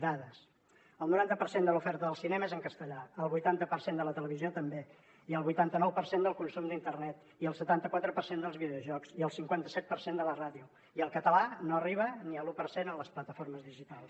dades el noranta per cent de l’oferta del cinema és en castellà el vuitanta per cent de la televisió també i el vuitanta nou per cent del consum d’internet i el setanta quatre per cent dels videojocs i el cinquanta set per cent de la ràdio i el català no arriba ni a l’u per cent en les plataformes digitals